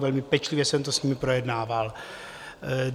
Velmi pečlivě jsem to s nimi projednával.